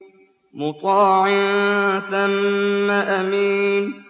مُّطَاعٍ ثَمَّ أَمِينٍ